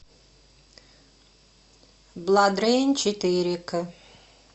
бладрейн четыре к